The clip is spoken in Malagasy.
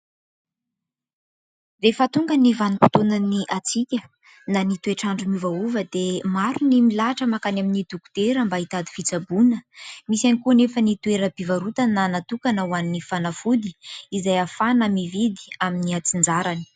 Rehefa tonga ny vanim-potoanan'ny hatsika na ny toetr'andro miovaova dia maro ny milahatra mankany amin'ny dokotera mba hitady fitsaboana misy ihany koa nefa ny toeram-pivarotana natokana ho an'ny fanafody izay ahafahana mividy amin'ny atsinjarany.